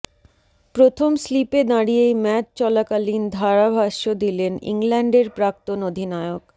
প্রথম স্লিপে দাঁড়িয়েই ম্যাচ চলাকালীন ধারাভাষ্য় দিলেন ইংল্যান্ডের প্রাক্তন অধিনায়ক